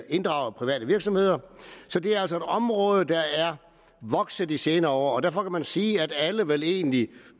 inddrage private virksomheder så det er altså et område der er vokset i de senere år og derfor kan man sige at alle vel egentlig